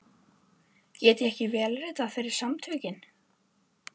Get ég ekki vélritað fyrir Samtökin?